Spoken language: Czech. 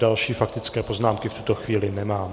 Další faktické poznámky v tuto chvíli nemám.